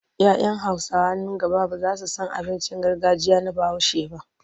Ya 'yan Hausawa nan gaba ba za su san abincin gargajiya na Bahaushe ba.